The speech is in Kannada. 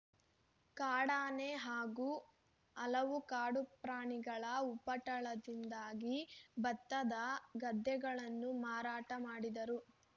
ಕಾಡಾನೆ ಹಾಗೂ ಹಲವು ಕಾಡು ಪ್ರಾಣಿಗಳ ಉಪಟಳದಿಂದಾಗಿ ಭತ್ತದ ಗದ್ದೆಗಳನ್ನು ಮಾರಾಟ ಮಾಡಿದರು